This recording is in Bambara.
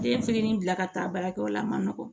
Den fitinin bila ka taa baarakɛyɔrɔ la a ma nɔgɔn